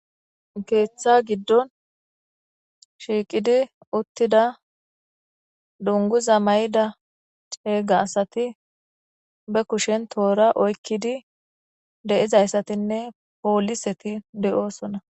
Keeththa giddon shiiqidi uttida dunguza may7ida ceega asati be kushen toora oykkidi de7izayssatinne pooliseti de7oosona.